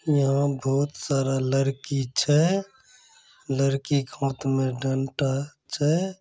यहा बहोत सारा लड़की छे। लरकी की हाथ मे डंडा छे।